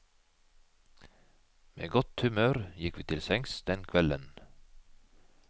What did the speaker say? Med godt humør gikk vi til sengs den kvelden.